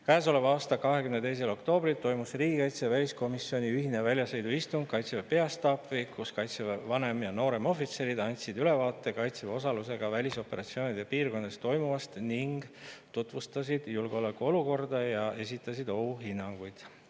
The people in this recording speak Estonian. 22. oktoobril toimus riigikaitsekomisjoni ja väliskomisjoni ühine väljasõiduistung Kaitseväe peastaabis, kus kaitseväe vanem‑ ja nooremohvitserid andsid ülevaate kaitseväe osalusega välisoperatsioonide piirkondades toimuvast ning tutvustasid julgeolekuolukorda ja esitasid ohuhinnanguid.